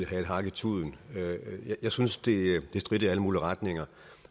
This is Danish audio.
have et hak i tuden jeg synes det stritter i alle mulige retninger